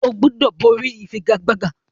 O gbúdọ̀ borí ìfigagbága!